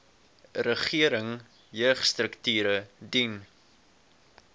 regering jeugstrukture dien